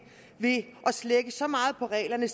ved at slække så meget på reglerne